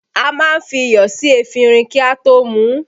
A má ń fi iyọ̀ sí efinrin kí a tó mú u